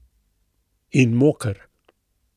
In moker.